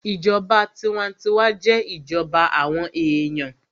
Ìjọba tinwatinwa jẹ́ ìjọba àwọn èèyàn